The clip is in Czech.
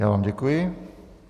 Já vám děkuji.